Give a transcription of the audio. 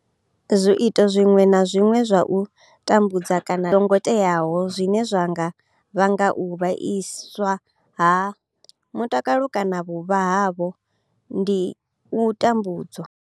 Zwiito zwiṅwe na zwiṅwe zwa u tambudza kana ndango i songo teaho zwine zwa nga vhanga u vhaiswa ha tsireledzo mutakalo kana vhuvha havho ndi u tambudzwa.